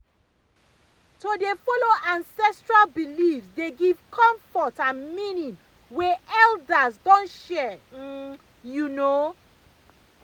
to dey follow ancestral beliefs dey give comfort and meaning wey elders don share um you know